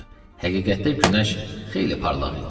Həqiqətdə günəş xeyli parlaq idi.